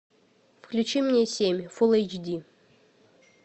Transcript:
включи мне семь фул эйч ди